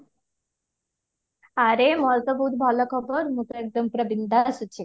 ଆରେ ମୋର ତ ବୋହୁତ ଭଲ ଖବର ମୁ ପୁରା ଏକଦମ ବିନଦାସ ଅଛି